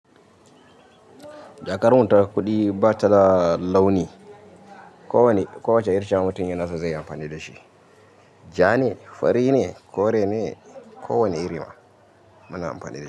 Jakarar wutar kuɗi ba ta launi. Kowane irin mutum yana so zai amfani da shi. Ja ne, fari ne, kore ne, ko wane irima muna amfani da shi.